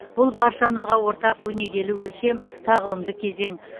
бұл баршамызға ортақ өнегелі өлшем тағылымды кезең